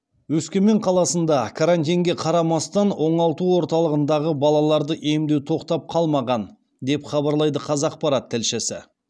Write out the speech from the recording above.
өскемен қаласында карантинге қарамастан оңалту орталығындағы балаларды емдеу тоқтап қалмаған деп хабарлайды қазақпарат тілшісі